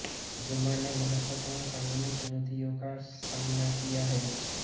Zuma ने महत्वपूर्ण कानूनी चुनौतियों का सामना किया है